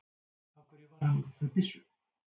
Af hverju var hann með byssu?